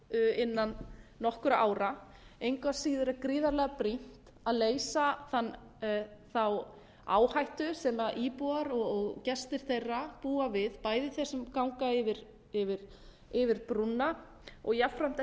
innan nokkurra ára engu að síður er gríðarlega brýnt að leysa þá áhættu sem íbúar og gestir þeirra búa við bæði þeir sem ganga yfir brúna og jafnframt